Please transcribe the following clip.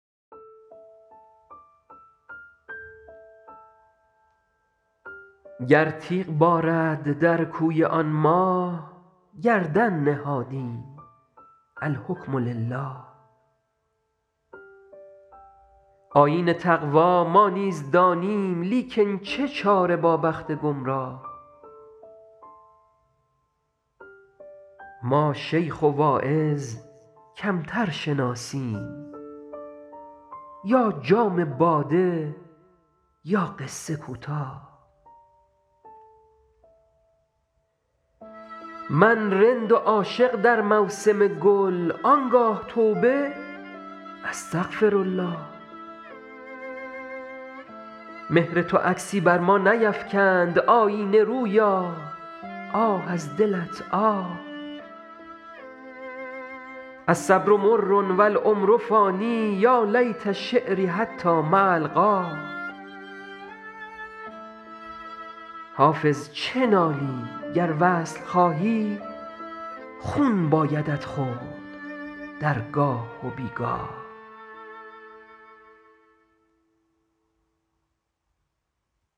گر تیغ بارد در کوی آن ماه گردن نهادیم الحکم لله آیین تقوا ما نیز دانیم لیکن چه چاره با بخت گمراه ما شیخ و واعظ کمتر شناسیم یا جام باده یا قصه کوتاه من رند و عاشق در موسم گل آن گاه توبه استغفرالله مهر تو عکسی بر ما نیفکند آیینه رویا آه از دلت آه الصبر مر و العمر فان یا لیت شعري حتام ألقاه حافظ چه نالی گر وصل خواهی خون بایدت خورد در گاه و بی گاه